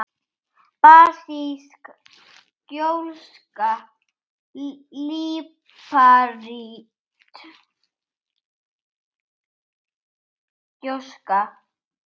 basísk gjóska líparít gjóska